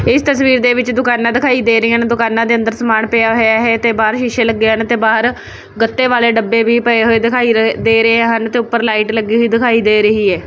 ਇੱਸ ਤਸਵੀਰ ਦੇ ਵਿੱਚ ਦੁਕਾਨਾਂ ਦਿਖਾਈ ਦੇ ਰਹੀਆ ਹਨ ਦੁਕਾਨਾਂ ਦੇ ਅੰਦਰ ਸਮਾਨ ਪਿਆ ਹੋਇਆ ਹੈ ਤੇ ਬਾਹਰ ਸ਼ੀਸ਼ੇ ਲੱਗੇ ਹਨ ਤੇ ਬਾਹਰ ਗੱਤੇ ਵਾਲੇ ਡੱਬੇ ਵੀ ਪਏ ਹੋਏ ਦਿਖਾਈ ਰਹੇ ਦੇ ਰਹੇ ਹਨ ਤੇ ਊਪਰ ਲਾਈਟ ਲੱਗੀ ਹੋਈ ਦਿਖਾਈ ਦੇ ਰਹੀ ਹੈ।